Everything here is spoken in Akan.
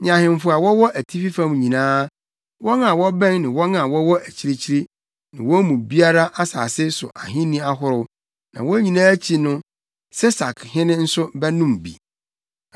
ne ahemfo a wɔwɔ atifi fam nyinaa, wɔn a wɔbɛn ne wɔn a wɔwɔ akyirikyiri, ne wɔn mu biara, asase so ahenni ahorow. Na wɔn nyinaa akyi no Sesakhene nso bɛnom bi.